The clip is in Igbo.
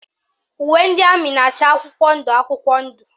Uwe ndị amị na-acha akwụkwọ ndụ akwụkwọ ndụ